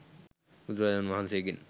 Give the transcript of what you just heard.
බුදුරජාණන් වහන්සේ ගෙන්